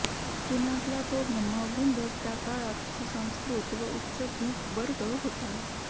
पुण्यातला तो ब्रह्मवृंदच त्या काळात सुसंस्कृत व उच्चभ्रूवर्ग होता